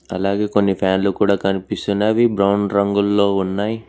అలాగే కొన్ని ఫ్యాన్ లు కూడా కనిపిస్తున్నవి బ్రౌన్ రంగుల్లో ఉన్నాయ్.